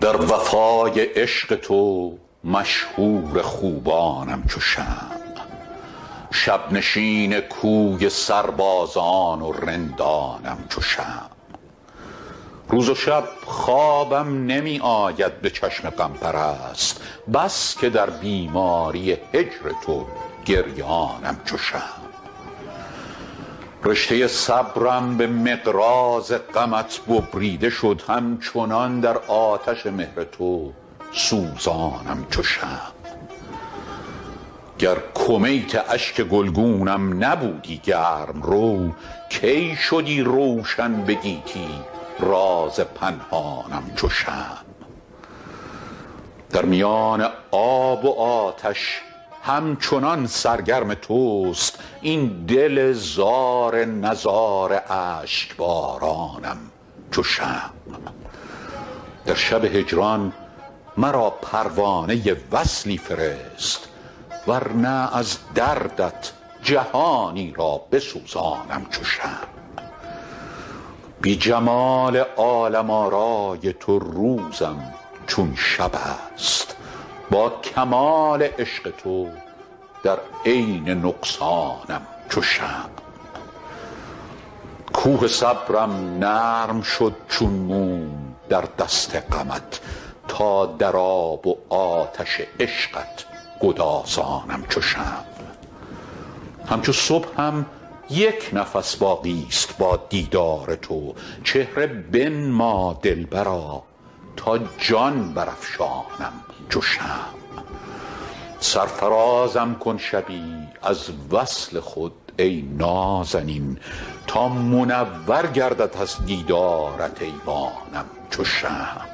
در وفای عشق تو مشهور خوبانم چو شمع شب نشین کوی سربازان و رندانم چو شمع روز و شب خوابم نمی آید به چشم غم پرست بس که در بیماری هجر تو گریانم چو شمع رشته صبرم به مقراض غمت ببریده شد همچنان در آتش مهر تو سوزانم چو شمع گر کمیت اشک گلگونم نبودی گرم رو کی شدی روشن به گیتی راز پنهانم چو شمع در میان آب و آتش همچنان سرگرم توست این دل زار نزار اشک بارانم چو شمع در شب هجران مرا پروانه وصلی فرست ور نه از دردت جهانی را بسوزانم چو شمع بی جمال عالم آرای تو روزم چون شب است با کمال عشق تو در عین نقصانم چو شمع کوه صبرم نرم شد چون موم در دست غمت تا در آب و آتش عشقت گدازانم چو شمع همچو صبحم یک نفس باقی ست با دیدار تو چهره بنما دلبرا تا جان برافشانم چو شمع سرفرازم کن شبی از وصل خود ای نازنین تا منور گردد از دیدارت ایوانم چو شمع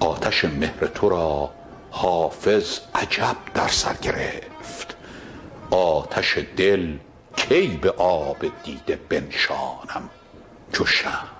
آتش مهر تو را حافظ عجب در سر گرفت آتش دل کی به آب دیده بنشانم چو شمع